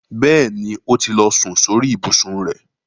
Bẹ́ẹ̀ni, ó ti lọ sun sórí ìbùsùn rẹ̀.